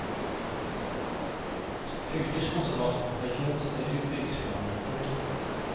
Fylkeskonservatoren har ikke motsatt seg utbyggingsplanene. punktum